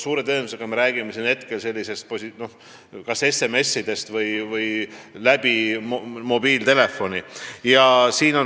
Suure tõenäosusega me räägime kas SMS-idest või muul moel mobiiltelefoniga teatamisest.